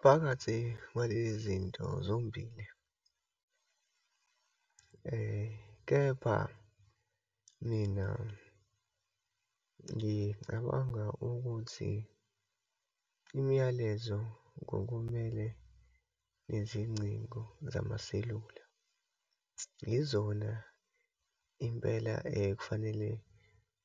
Phakathi kwalezi zinto zombili. Kepha mina, ngicabanga ukuthi imiyalezo ngokumele nezingcingo zamaselula. Yizona impela kufanele